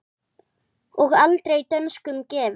og aldrei dönskum gefin!